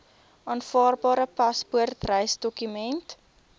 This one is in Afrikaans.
aanvaarbare paspoort reisdokument